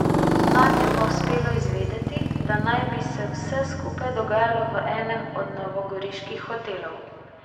Nam je pa uspelo izvedeti, da naj bi se vse skupaj dogajalo v enem od novogoriških hotelov.